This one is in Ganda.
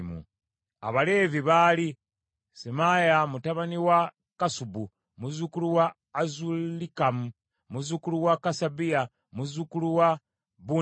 Abaleevi baali: Semaaya mutabani wa Kassubu, muzzukulu wa Azulikamu, muzzukulu wa Kasabiya, muzzukulu wa Bunni;